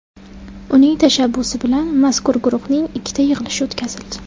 Uning tashabbusi bilan mazkur guruhning ikkita yig‘ilishi o‘tkazildi.